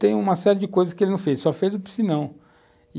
tem uma série de coisas que ele não fez, só fez o piscinão.